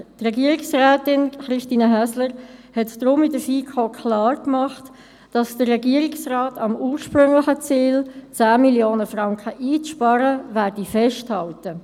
Regierungsrätin Christine Häsler stellte in der FiKo deshalb klar, der Regierungsrat werde am ursprünglichen Ziel, 10 Mio. Franken einzusparen, festhalten.